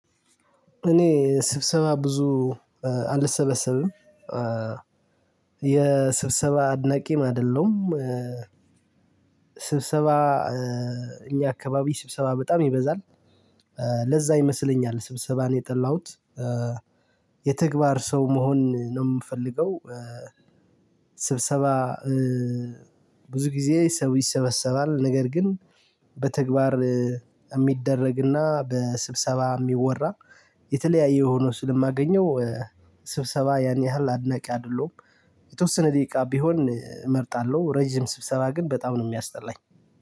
እኔ ስብሰባ ብዙ አልሰበሰብም የስብሰባ አድናቂም አይደለም። ስብሰባ እኛ አካባቢ ስብሰባ በጣም ይበዛል። ለዛ ይመስለኛል ስብሰባን የጠላሁት የተግባር ሰው መሆን ነው የምፈልገው። ስብሰባ ብዙ ጊዜ ሰው ይሰበሰባል ነገር ግን በተግባር የሚደረግና በስብሰባ የሚወራ የተለያየ ሆኖ ስለማገኘው ስብሰባ ያን ያህል አድናቂ አይደለሁም። የተወሰነ ደቂቃ ቢሆን እመርጣለሁ ረጅም ስብሰባ ግን በጣም ነው የሚያስጠላኝ።